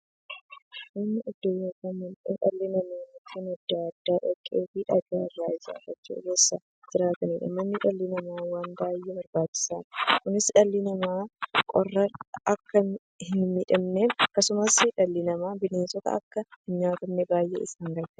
Manni iddoo yookiin mandhee dhalli namaa Mukkeen adda addaa, dhoqqeefi dhagaa irraa ijaarachuun keessa jiraataniidha. Manni dhala namaaf waan baay'ee barbaachisaadha. Kunis, dhalli namaa qorraan akka hinmiidhamneefi akkasumas dhalli namaa bineensaan akka hinnyaatamneef baay'ee isaan gargaara.